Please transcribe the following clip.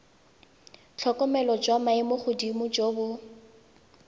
tlhokomelo jwa maemogodimo jo bo